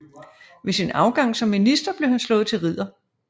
Ved sin afgang som minister blev han slået til ridder